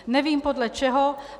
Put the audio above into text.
Nevím podle čeho.